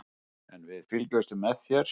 En við fylgjumst með þér.